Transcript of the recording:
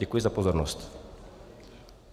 Děkuji za pozornost.